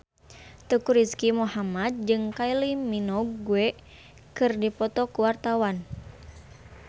Teuku Rizky Muhammad jeung Kylie Minogue keur dipoto ku wartawan